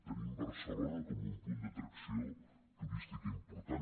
tenim barcelona com un punt d’atracció turística important